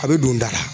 A bɛ don da la